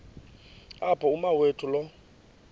apho umawethu lo